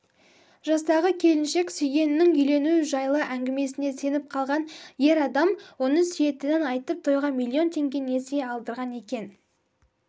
жастағы келіншек сүйгенінің үйлену жайлы әңгімесіне сеніп қалған ер адам оны сүйетінін айтып тойға миллион теңге несие алдырған екен